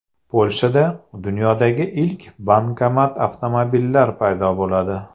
Polshada dunyodagi ilk bankomat-avtomobillar paydo bo‘ladi.